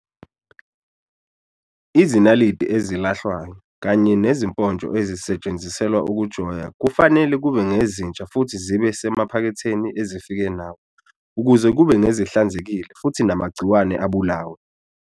Izinaliti ezilahlwayo kanye nezimponstho ezisetshenziselwa ukujoya kufanele kube ngezinzsha futhi zibe semaphaketheni ezifike nawo ukuze kube ngezihlanzekile futhi namagciwane abulawe.